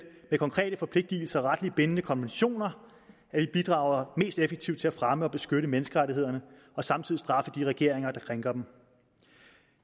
med konkrete forpligtelser og retligt bindende konventioner at vi bidrager mest effektivt til at fremme og beskytte menneskerettighederne og samtidig straffe de regeringer der krænker dem